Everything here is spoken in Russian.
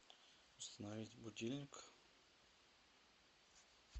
установить будильник